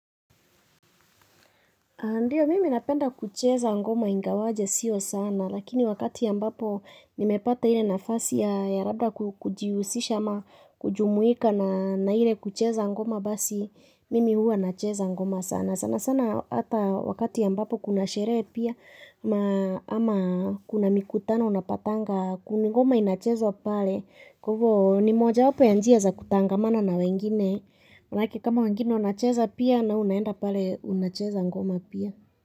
Ndiyo, mimi napenda kucheza ngoma ingawaje sio sana, lakini wakati ambapo nimepata ile nafasi ya ya rabda ku kujiusisha ama, kujumuika na na ile kucheza ngoma basi, mimi huwa nacheza ngoma sana. Sana sana atha wakati ambapo kuna sheree pia, maa ama kuna mikutano unapatanga kuni ngoma inachezwa pale, kwa ivo ni moja wapo ya njia za kutangamana na wengine. Manake kama wengine unacheza pia nawe unaenda pale unacheza ngoma pia.